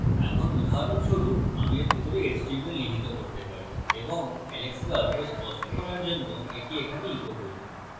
এখন উদাহরণস্বরূপ আমি এর ভিতরে html নিহিত করতে পারি এবং alex কে অল্প স্পষ্ট করার জন্য echo এখানে echo করি